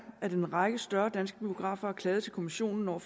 at en række større danske biografer har klaget til kommissionen over